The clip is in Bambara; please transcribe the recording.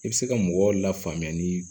I bɛ se ka mɔgɔw lafaamuya ni